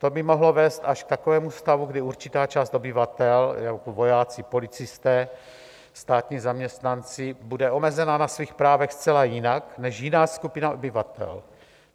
To by mohlo vést až k takovému stavu, kdy určitá část obyvatel, jako vojáci, policisté, státní zaměstnanci, bude omezena na svých právech zcela jinak než jiná skupina obyvatel.